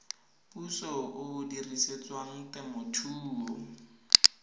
puso o o dirisetswang temothuo